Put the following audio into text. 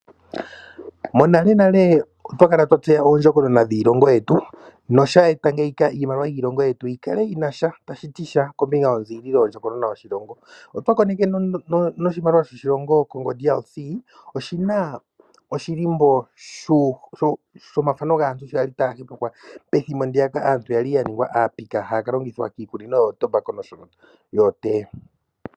Monalenale otwa kala twa tseya oondjokonona dhiilongo yetu nosha eta ngeyika iimaliwa yiilongo yetu yi kale yi na sha tashi ti sha kombinga yonziililo yoshilongo. Otwa koneke noshimaliwa shaDRC oshi na oshilimbo shomathano gaantu sho ya li taya hepekwa pethimbo ndi ya ka aantu ya li ya ningwa aapika haya ka longithwa kiikunino yomakaya noshowo yookoothiwa.